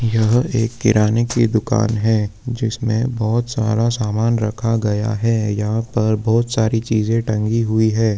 यहा पर किराने की दुकान है जिसमें बहुत सारा सामान रखा गया है यहां पर बहुत सारी चीज टंगी हुई है